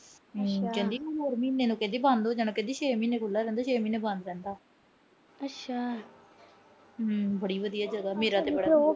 ਕਹਿੰਦੀ ਹੋਰ ਮਹੀਨੇ ਨੂੰ ਬੰਦ ਹੋ ਜਾਣਾ। ਕਹਿੰਦੀ ਛੇ ਮਹੀਨੇ ਖੁੱਲ੍ਹਾ ਰਹਿੰਦਾ। ਛੇ ਮਹੀਨੇ ਬੰਦ ਰਹਿੰਦਾ। ਹੂੰ ਬੜੀ ਵਧੀਆ ਜਗਾ। ਮੇਰਾ ਤਾਂ